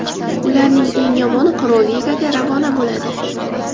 Ularning eng yomoni Pro-Ligaga ravona bo‘ladi.